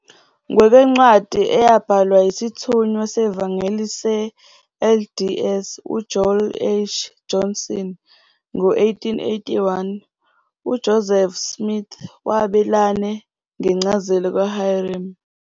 Ngokwencwadi eyabhalwa yisithunywa sevangeli se-LDS uJoel H. Johnson ngo-1881, uJoseph Smith wabelane ngencazelo kaHyrum.